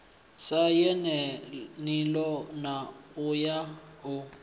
sa yelaniho na wa u